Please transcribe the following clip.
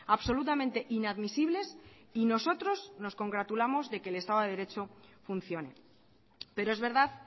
absolutamente inadmisibles y nosotros nos congratulamos de que el estado derecho funcione pero es verdad